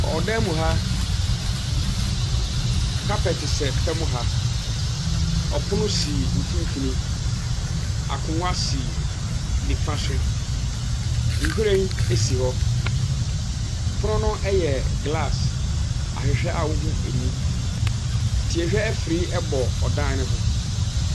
Ɔdan mu ha, carpet sɛ fam ha, ɔpono si mfimfini, akonwgua si nifa so, nhwire si hɔ. pono no yɛ glaase ahwehwɛ a wohu mu. Tiehwɛ afiri bɔ dan ne ho.